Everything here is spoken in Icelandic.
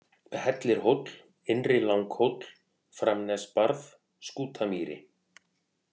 Hellirhóll, Innri-Langhóll, Framnesbarð, Skútamýri